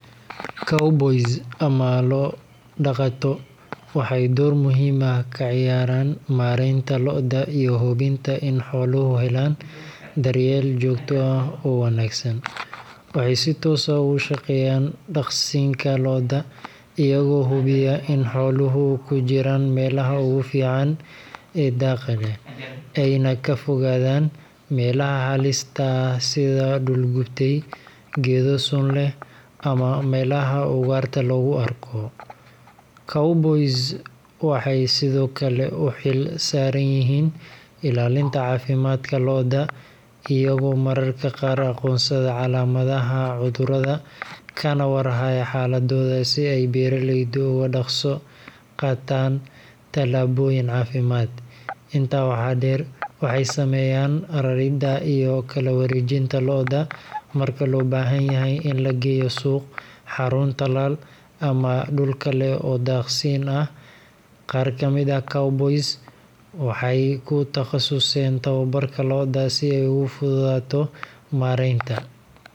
Cowboys, ama lo’ dhaqato, waxay door muhiim ah ka ciyaaraan maareynta lo’da iyo hubinta in xooluhu helaan daryeel joogto ah oo wanaagsan. Waxay si toos ah uga shaqeeyaan daaqsinka lo’da, iyagoo hubiya in xooluhu ku jiraan meelaha ugu fiican ee daaqa leh, ayna ka fogaadaan meelaha halista ah sida dhul gubtay, geedo sun leh, ama meelaha ugaarta lagu arko. Cowboys waxay sidoo kale u xil saaran yihiin ilaalinta caafimaadka lo’da, iyagoo mararka qaar aqoonsada calaamadaha cudurrada, kana war haya xaaladooda si ay beeraleydu ugu dhaqso qaadaan tallaabooyin caafimaad. Intaa waxaa dheer, waxay sameeyaan raridda iyo kala wareejinta lo’da marka loo baahan yahay in la geeyo suuq, xarun tallaal, ama dhul kale oo daaqsiin ah. Qaar ka mid ah cowboys-ka waxay ku takhasuseen tababarka lo’da si ay ugu fududaato maaraynta.